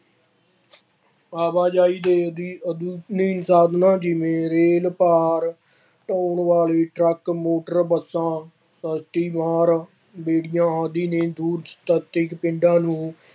ਆਵਾਜਾਈ ਦੇ ਆਧੁਨਿਕ ਸਾਧਾਨਾਂ ਜਿਵੇਂ ਰੇਲ ਭਾਰ ਢੋਣ ਵਾਲੇ ਟਰੱਕ, ਮੋਟਰ ਬੱਸਾਂ, ਬੇੜੀਆਂ ਆਦਿ ਨੇ ਦੂਰ ਨਜ਼ਦੀਕ ਪਿੰਡਾਂ ਨੂੰ